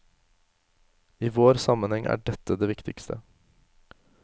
I vår sammenheng er dette det viktigste.